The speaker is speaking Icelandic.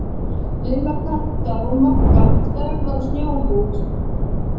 Lilla, Kata og Magga stærðar snjóhús.